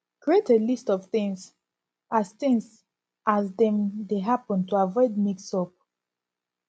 create a list of things as things as dem dey happen to avoid mix up